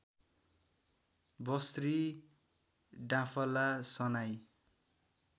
बस्री डाँफला सनाई